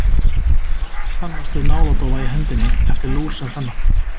Margir kannast við náladofa í hendi eftir lúr sem þennan.